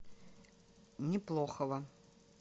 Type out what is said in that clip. неплохова